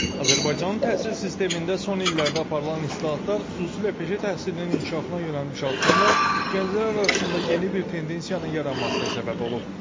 Azərbaycanın təhsil sistemində son illərdə aparılan islahatlar, xüsusilə peşə təhsilinin inkişafına yönəlmiş addımlar gənclər arasında yeni bir tendensiyanın yaranmasına səbəb olub.